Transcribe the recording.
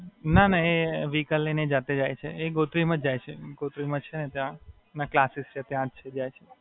ના, ના એ વેહિકલ લઈને જાતે જાય છે. એ ગોત્રી માં જ જાય છે, ગોત્રી માં છે તેના ક્લાસેસ ત્યાં જ જાય છે.